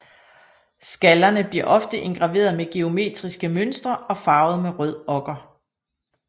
Skallerne bliver ofte indgraveret med geometriske mønstre og farvet med rød okker